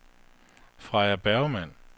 Freja Bergmann